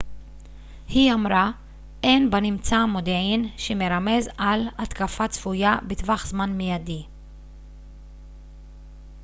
היא אמרה אין בנמצא מודיעין שמרמז על התקפה צפויה בטווח זמן מיידי